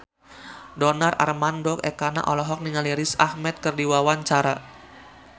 Donar Armando Ekana olohok ningali Riz Ahmed keur diwawancara